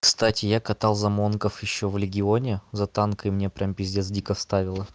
кстати я катал за монгов ещё в легионе за танк и мне прям пиздец дико вставило